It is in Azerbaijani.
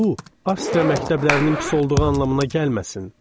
Bu, Avstriya məktəblərinin pis olduğu anlamına gəlməsin.